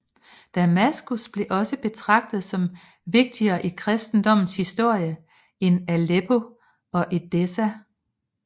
Damaskus blev også betragtet som vigtigere i kristendommens historie end Aleppo og Edessa